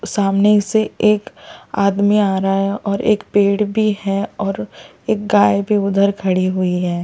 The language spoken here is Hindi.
सामने से एक आदमी आ रहा और एक पेड़ भी है और एक गाय भी उधर खड़ी हुई है और एक --